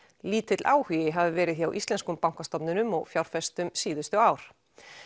lítill áhugi hafi verið hjá íslenskum bankastofnunum og fjárfestum síðustu ár